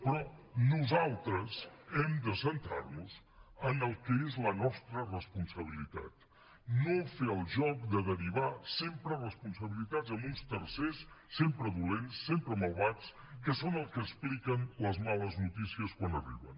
però nosaltres hem de centrar nos en el que és la nostra responsabilitat no fer el joc de derivar sempre responsabilitats a uns tercers sempre dolents sempre malvats que són els que expliquen les males notícies quan arriben